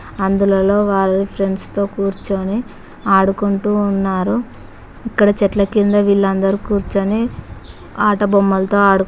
అందులలో వాళ్ళు ఫ్రెండ్స్ తో కూర్చొని ఆడుకుంటూ ఉన్నారు ఇక్కడ చెట్ల కింద వీళ్ళందరు కూర్చుని ఆటబొమ్మలతో ఆడు--